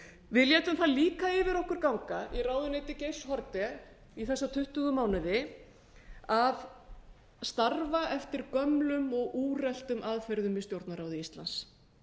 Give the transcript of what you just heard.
við létum það líka yfir okkur ganga í ráðuneyti geirs haarde í þessa tuttugu mánuði að starfa eftir gömlum og úreltum aðferðum í stjórnarráði íslands